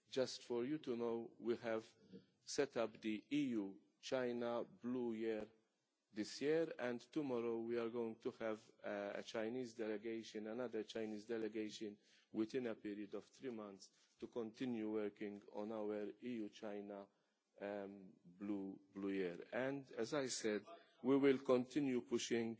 Just to let you know, we have set up the EU China Blue Year this year, and tomorrow we are going to have a Chinese delegation another Chinese delegation within a period of three months to continue working on our EU-China Blue Year and, as I said, we will continue pushing